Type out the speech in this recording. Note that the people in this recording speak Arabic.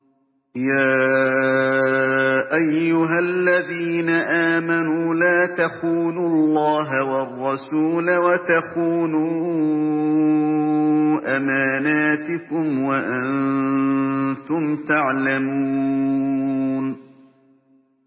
يَا أَيُّهَا الَّذِينَ آمَنُوا لَا تَخُونُوا اللَّهَ وَالرَّسُولَ وَتَخُونُوا أَمَانَاتِكُمْ وَأَنتُمْ تَعْلَمُونَ